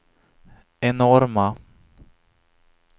enorma